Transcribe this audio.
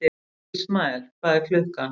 Ismael, hvað er klukkan?